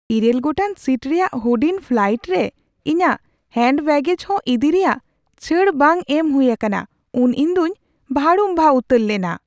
᱘ ᱜᱚᱴᱟᱝ ᱥᱤᱴ ᱨᱮᱭᱟᱜ ᱦᱩᱰᱤᱧ ᱯᱷᱞᱟᱭᱤᱴ ᱨᱮ ᱤᱧᱟᱹᱜ ᱦᱮᱱᱰ ᱵᱮᱹᱜᱮᱡ ᱦᱚᱸ ᱤᱫᱤ ᱨᱮᱭᱟᱜ ᱪᱷᱟᱹᱲ ᱵᱟᱝ ᱮᱢ ᱦᱩᱭ ᱟᱠᱟᱱᱟ ᱩᱱ ᱤᱧᱫᱩᱧ ᱵᱷᱟᱲᱩᱢᱵᱷᱟ ᱩᱛᱟᱹᱨ ᱞᱮᱱᱟ ᱾